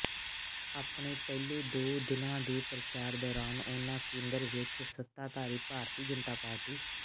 ਆਪਣੇ ਪਹਿਲੇ ਦੋ ਦਿਨਾਂ ਦੇ ਪ੍ਰਚਾਰ ਦੌਰਾਨ ਉਨ੍ਹਾਂ ਕੇਂਦਰ ਵਿੱਚ ਸੱਤਾਧਾਰੀ ਭਾਰਤੀ ਜਨਤਾ ਪਾਰਟੀ